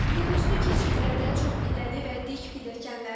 Yolüstü keçidlərdə çoxpilləli və dik pilləkənlər.